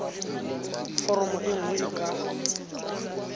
foromo e nngwe e ka